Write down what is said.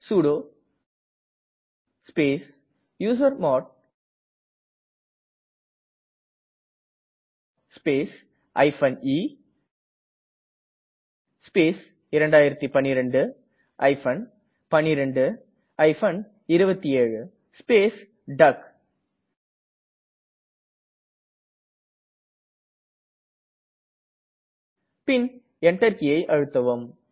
sudo space usermod space e space 2012 12 27 space டக் பின் Enter கீயை அழுத்தவும்